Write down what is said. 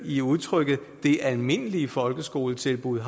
i udtrykket det almindelige folkeskoletilbud